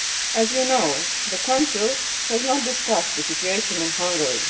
As you know, the Council has not discussed the situation in Hungary.